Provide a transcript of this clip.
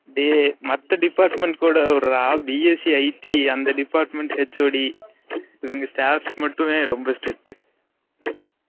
டெய் மத்த department கூட விடு டா bsc , IT அந்த department HOD இவங்க staffs மட்டுமே ரொம்ப strict